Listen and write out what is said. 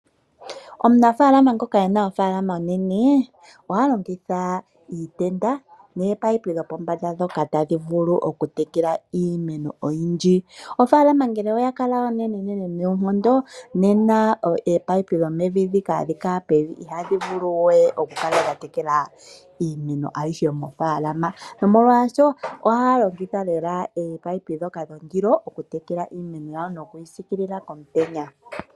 Omunafaalama ngoka ena ofaalama onenene oha longitha iitenda noopaipi dhopombanda ndhoka tadhi vulu okutekela iimeno oyindji. Ofaalama ngele oha kala onenenene noonkondo nena oopaipi dhomevi dhika hadhi kala pevi ihadhi vulu we okukala dhatekela iimeno ayishe mofaalama nomolwaasho ohaya longothitha lela oopaipi dhoka dhondilo okutekela iimeno nokuyi siikilila komutenya.